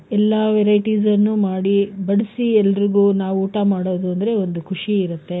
ಎಲ್ಲಾ varieties ಅನ್ನು ಮಾಡಿ ಬಡ್ಸಿ ಏಳ್ರಿಗೂ ನಾವು ಊಟ ಮಾಡೋದು ಅಂದ್ರೆ ಒಂದು ಖುಷಿ ಇರುತ್ತೆ.